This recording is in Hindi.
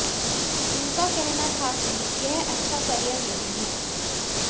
उनका कहना था कि यह अच्छा करियर नहीं है